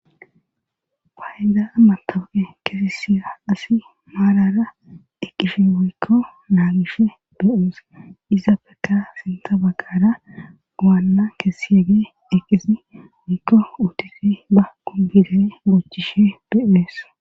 Paayda amma tawuqe kesi siya asi maarara eqqishi wuykko naagishe beyuse izappeka sinta bagqara waanna keesi yeege eqqisi wuykko utifi ba kubirey boochishe be'ees.